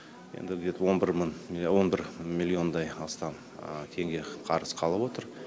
енді где то он бір миллиондай астам теңге қарыз қалып отыр